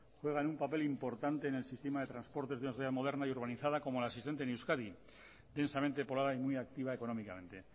juegan un papel importante en el sistema de transportes de una sociedad moderna y urbanizada como la existente en euskadi intensamente poblada y muy activa económicamente